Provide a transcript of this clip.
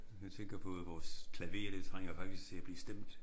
Jeg tænker på at vores klaver det trænger faktisk til at blive stemt